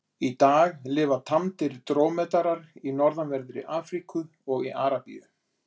Í dag lifa tamdir drómedarar í norðanverðri Afríku og í Arabíu.